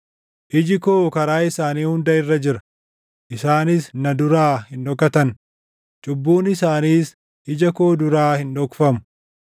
Iji koo karaa isaanii hunda irra jira; isaanis na duraa hin dhokatan; cubbuun isaaniis ija koo duraa hin dhokfamu.